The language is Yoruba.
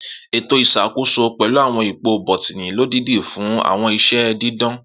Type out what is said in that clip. Eto iṣakoso pẹlu awọn ipo bọtini lodidi fun awọn iṣẹ didan.